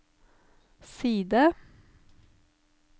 side